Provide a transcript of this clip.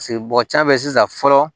Paseke mɔgɔ can bɛ sisan fɔlɔ